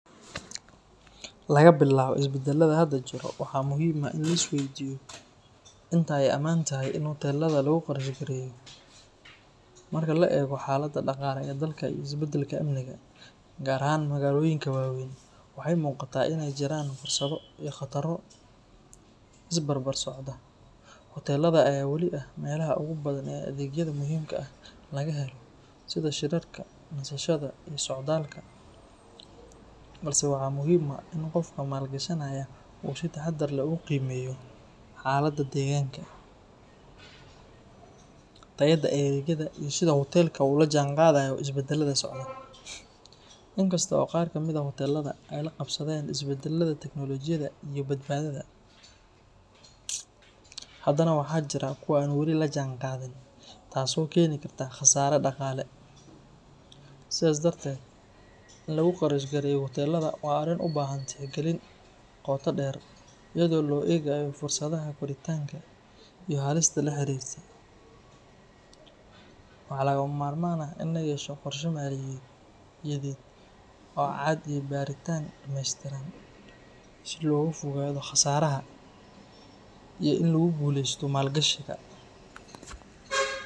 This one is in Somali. Laga bilaabo isbedelada hadda jira, waxaa muhiim ah in la isweydiiyo inta ay amaan tahay in hoteelada lagu qarash gareeyo. Marka la eego xaaladda dhaqaale ee dalka iyo isbedelka amniga, gaar ahaan magaalooyinka waaweyn, waxay muuqataa in ay jiraan fursado iyo khataro is barbar socda. Hoteelada ayaa weli ah meelaha ugu badan ee adeegyada muhiimka ah laga helo, sida shirarka, nasashada, iyo socdaalka, balse waxaa muhiim ah in qofka maalgashanaya uu si taxaddar leh u qiimeeyo xaaladda deegaanka, tayada adeegyada, iyo sida hoteelka u la jaanqaadayo isbedelada socda. Inkasta oo qaar ka mid ah hoteelada ay la qabsadeen isbedelada teknolojiyadda iyo badbaadada, haddana waxaa jira kuwa aan weli la jaanqaadin, taasoo keeni karta khasaare dhaqaale. Sidaas darteed, in lagu qarash gareeyo hoteelada waa arrin u baahan tixgelin qoto dheer, iyadoo loo eegayo fursadaha koritaanka iyo halista la xiriirta. Waxaa lagama maarmaan ah in la yeesho qorshe maaliyadeed oo cad iyo baaritaan dhameystiran si looga fogaado khasaaraha iyo in lagu guuleysto maalgashiga.